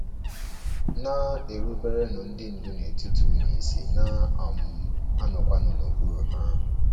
“ Na -- eruberenụ ndị ndu n’etiti unu isi, na - um anọkwanụ n’okpuru ha”